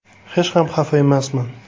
Hech ham xafa emasman.